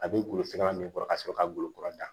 A bɛ golo sira min kɔrɔ ka sɔrɔ ka golokura ta